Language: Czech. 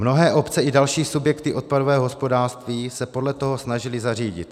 Mnohé obce i další subjekty odpadového hospodářství se podle toho snažily zařídit.